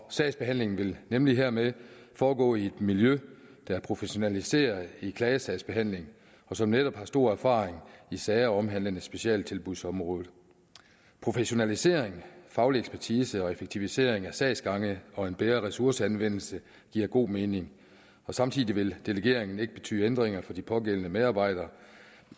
sagsbehandlingen vil nemlig hermed foregå i et miljø der er professionaliseret i klagesagsbehandling og som netop har stor erfaring i sager omhandlende specialtilbudsområdet professionalisering faglig ekspertise og effektivisering af sagsgange og en bedre ressourceanvendelse giver god mening samtidig vil delegeringen ikke betyde ændringer for de pågældende medarbejderes